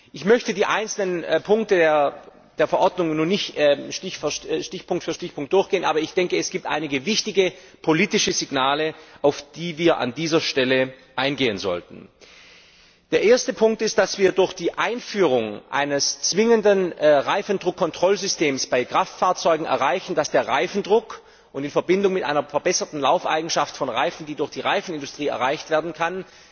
Ich möchte die einzelnen Punkte der Verordnung nicht stichpunktartig durchgehen, aber ich denke, es gibt einige wichtige politische Signale, auf die wir an dieser Stelle eingehen sollten Der erste Punkt ist, dass wir durch die Einführung eines zwingenden Reifendruckkontrollsystems bei Kraftfahrzeugen erreichen, dass der Reifendruck in Verbindung mit einer verbesserten Laufeigenschaft von Reifen, die durch die Reifenindustrie erreicht werden kann,